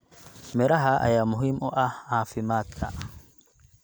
Miraha ayaa muhiim u ah caafimaadka.